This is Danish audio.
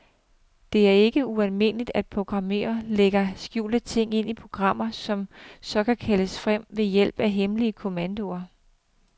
Det er ikke ualmindeligt, at programmører lægger skjulte ting ind i programmer, som så kan kaldes frem ved hjælp af hemmelige kommandoer.